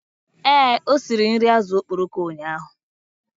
Ee, o siri nri azụ̀ okporoko ụnyahụ.